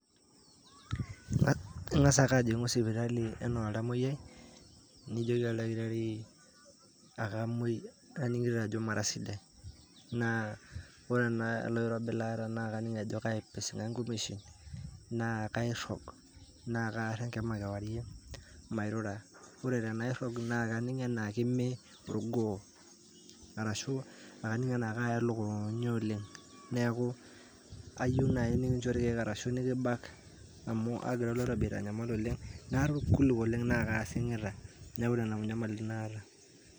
ah Ing'as ake ajing'u sipitali enaa oltamuoyai, nijoki oldakitari akamuoi aning'ito ajo mara sidai, naa ore n aa ele kirobi laata naa kaning' kaipising'a nkumeshin, naa kairrog, naa kaarr enkima kewarie, mairura. Ore tenairrog naa kaning' anaa kemme orgoo, arashu aning' anaa kaaya lukunya oleng', neaku ayou nai nekincho irkeek arashu nikibak amu aagira aitanyamal oleng' naata orkuluk oleng' naake aasing'ita neaku nena nyamalitin naata.